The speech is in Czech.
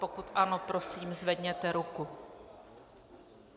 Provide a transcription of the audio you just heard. Pokud ano, prosím, zvedněte ruku.